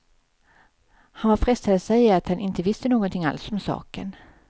Han var frestad att säga att han inte visste någonting alls om saken.